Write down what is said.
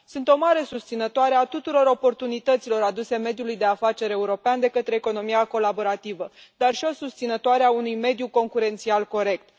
Sunt o mare susținătoare a tuturor oportunităților aduse mediului de afaceri european de către economia colaborativă, dar și o susținătoare a unui mediu concurențial corect.